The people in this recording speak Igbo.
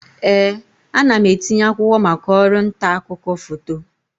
Ee, ana m etinye akwụkwọ maka ọrụ nta akụkọ foto.